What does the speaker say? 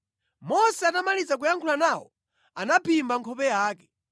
Mose atamaliza kuyankhula nawo anaphimba nkhope yake.